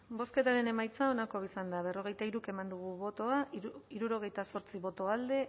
bozketaren emaitza onako izan da berrogeita hiru eman dugu bozka hirurogeita zortzi boto alde